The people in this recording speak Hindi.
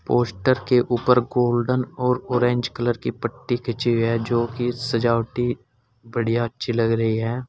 पोस्टर के ऊपर गोल्डन और ऑरेंज कलर की पट्टी खींची है जो की सजावटी बढ़िया अच्छी लग रही है।